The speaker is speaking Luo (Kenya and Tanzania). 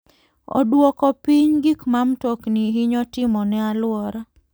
Oduoko piny gik ma mtokni hinyo timo ne alwora.